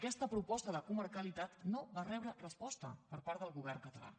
aquesta proposta de comarcalitat no va rebre resposta per part del govern català